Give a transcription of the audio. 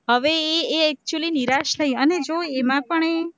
હવે ઈ એ actually નિરાશ થઇ, એમાં પણ એ